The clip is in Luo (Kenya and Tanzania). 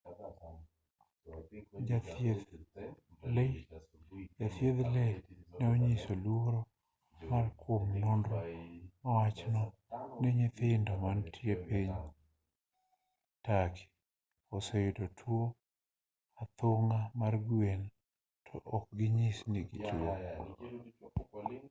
jathieth lee ne onyiso luoro mare kuom nonro mawacho ni nyithindo mantie piny turkey oseyudo tuo athung'a mar gwen to ok ginyis ni gituo